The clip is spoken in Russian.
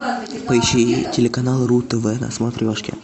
поищи телеканал ру тв на смотрешке